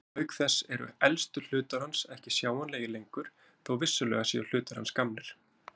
Auk þess eru elstu hlutar hans ekki sjáanlegir lengur þó vissulega séu hlutar hans gamlir.